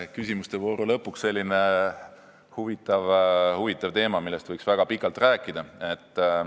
Küsimuste vooru lõpuks selline huvitav teema, millest võiks väga pikalt rääkida.